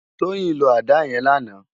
Toyin ló àdá yèn làná